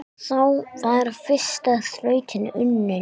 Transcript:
Þá var fyrsta þrautin unnin.